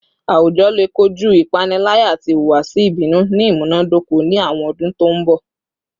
Awujọ le koju ipanilaya ati ihuwasi ibinu ni imunadoko ni awọn ọdun to nbọ